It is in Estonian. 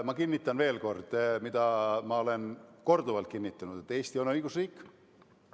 Ma kinnitan veel kord seda, mida olen korduvalt kinnitanud: Eesti on õigusriik.